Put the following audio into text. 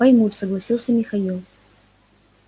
поймут согласился михаил